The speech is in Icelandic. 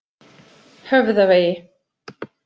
Höfðavegi